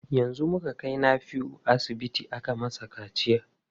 Yanzu muka kai Nafiu asibiti aka masa kaciya.